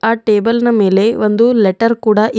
ಆ ಟೇಬಲ್ ನ ಮೇಲೆ ಒಂದು ಲೆಟರ್ ಕೂಡ ಇದೆ.